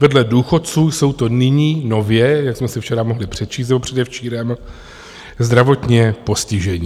Vedle důchodců jsou to nyní nově, jak jsme si včera mohli přečíst, nebo předevčírem, zdravotně postižení.